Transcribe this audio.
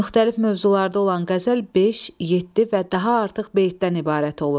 Müxtəlif mövzularda olan qəzəl beş, yeddi və daha artıq beytdən ibarət olur.